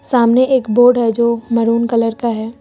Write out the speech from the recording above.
सामने एक बोर्ड है जो मैरून कलर का है।